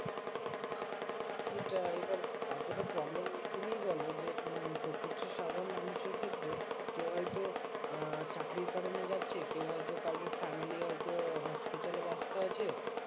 সেটাই এবার এতটা problem তুমিই বলো যে মম প্রত্যেকটা সাধারণ মানুষের ক্ষেত্রে কেউ হয়তো আহ চাকরির কারণে যাচ্ছে কেউ হয়তো কারোর family হয়তো hospital এ ব্যস্ত আছে